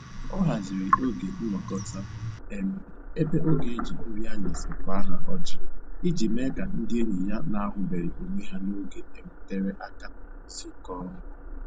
Ọ haziri oge nnọkọta um ebe ọ ga-eji nri anyasị kwaa ha ọjị iji mee ka ndị enyi ya na-ahụbeghị onwe ha n'oge um tere aka zukọọ